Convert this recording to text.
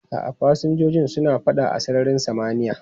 A'a, fasinjojin suna fada a sararin samaniya.